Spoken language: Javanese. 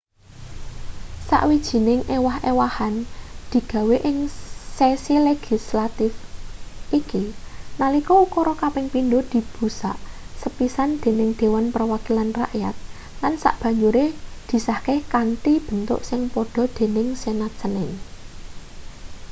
sawijining ewah-ewahan digawe ing sesi legislatif iki nalika ukara kaping pindho dibusak sepisan dening dewan perwakilan rakyat lan sabanjure disahke kanthi bentuk sing padha dening senat senin